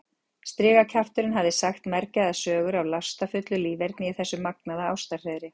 Strigakjafturinn hafði sagt mergjaðar sögur af lastafullu líferni í þessu magnaða ástarhreiðri.